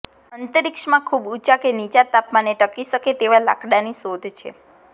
અંતરિક્ષમાં ખૂબ ઉંચા કે નીચા તાપમાને ટકી શકે તેવા લાકડાંની શોધ છે